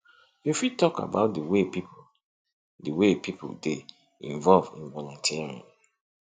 you fit talk about di way people di way people dey involve in volunteering